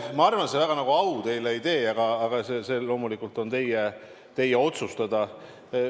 Ma arvan, et ega see väga au teile ei tee, aga see loomulikult on teie otsustada.